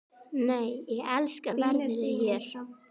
Nei, ég elska veðrið hérna!